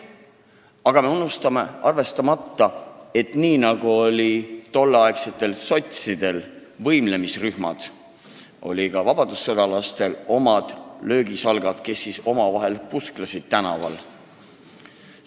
Aga me jätame arvestamata, et nii nagu olid tolleaegsetel sotsidel võimlemisrühmad, olid vabadussõjalastel omad löögisalgad, kes omavahel tänavatel pusklesid.